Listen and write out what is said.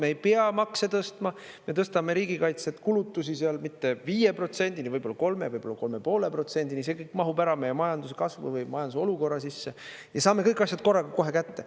Me ei pea makse tõstma, me tõstame riigikaitse kulutusi seal mitte 5%-ni, võib-olla 3 või 3,5%-ni, see kõik mahub ära meie majanduskasvu või majanduse olukorra sisse ja saame kõik asjad korraga kohe kätte.